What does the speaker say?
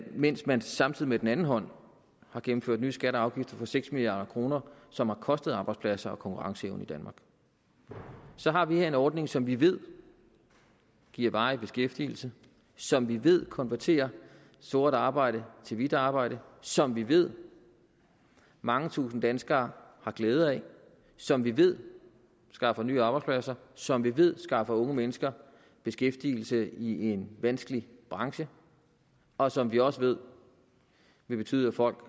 mens man samtidig med den anden hånd har gennemført nye skatter og afgifter for seks milliard kr noget som har kostet arbejdspladser og konkurrenceevne i danmark så har vi her en ordning som vi ved giver varig beskæftigelse som vi ved konverterer sort arbejde til hvidt arbejde som vi ved mange tusinde danskere har glæde af som vi ved skaffer nye arbejdspladser som vi ved skaffer unge mennesker beskæftigelse i en vanskelig branche og som vi også ved vil betyde at folk